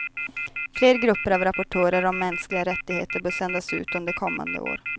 Fler grupper av rapportörer om mänskliga rättigheter bör sändas ut under kommande år.